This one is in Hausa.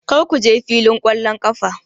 Kar ku je filin ƙwallon ƙafa!